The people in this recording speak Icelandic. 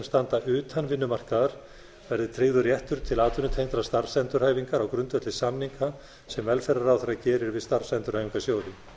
standa utan vinnumarkaðar verði tryggður réttur til atvinnutengdrar starfsendurhæfingar á grundvelli samninga sem velferðarráðherra gerir við starfsendurhæfingarsjóði